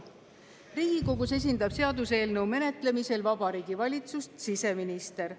Riigikogus esindab seaduseelnõu menetlemisel Vabariigi Valitsust siseminister.